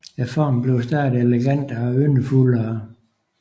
Formen bliver stadig elegantere og yndefuldere